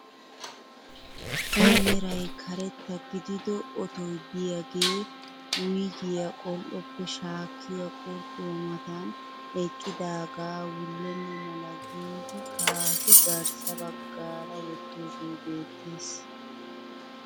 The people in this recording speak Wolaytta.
A meray karetta gidido otoy de'iyaagee wuyigiyaa qol"oppe shaakkiyaa quruxuwaa matan eqqidaagaa wullenna mala giidi kaafi garssa baggaara wottoogee beettees.